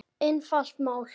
Einfalt mál.